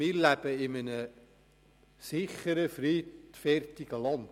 Wir leben grundsätzlich in einem sicheren, friedfertigen Land.